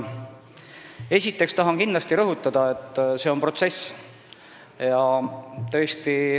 Esiteks tahan kindlasti rõhutada, et see on protsess.